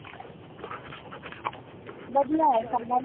ਵਧੀਆ ਹੈ